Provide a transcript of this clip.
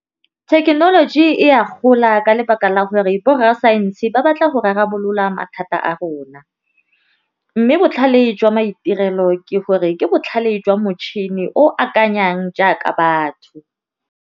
Thekenoloji e a gola ka lebaka la gore borrasaense ba batla go rarabolola mathata a rona, mme botlhale jwa maitirelo ke gore ke botlhale jwa motšhini o akanyang jaaka batho.